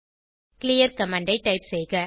clear command ஐ type செய்க